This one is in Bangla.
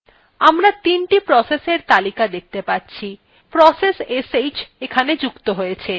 আমরা ৩the processএর তালিকা দেখতে পাচ্ছি process sh যুক্ত হয়েছে